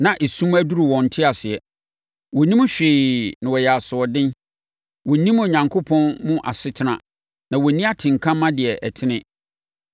na esum aduru wɔn nteaseɛ. Wɔnnim hwee na wɔyɛ asoɔden. Wɔnnim Onyankopɔn mu asetena na wɔnni atenka ma deɛ ɛtene.